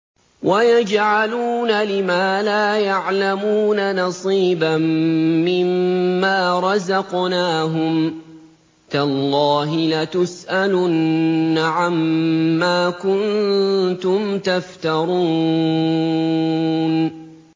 وَيَجْعَلُونَ لِمَا لَا يَعْلَمُونَ نَصِيبًا مِّمَّا رَزَقْنَاهُمْ ۗ تَاللَّهِ لَتُسْأَلُنَّ عَمَّا كُنتُمْ تَفْتَرُونَ